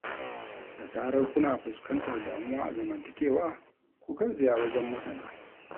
Da zarar kuna fuskantar damuwa a zamantakewa, ku garzaya wajen masana